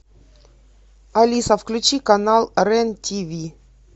алиса включи канал рен тв